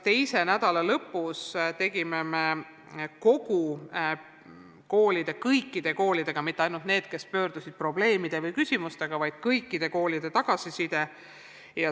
Teise nädala lõpus küsisime kõikidelt koolidelt tagasisidet – mitte ainult nendelt, kes olid probleemide või küsimustega ministeeriumi poole pöördunud, vaid kõikidelt koolidelt.